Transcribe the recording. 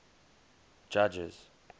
judges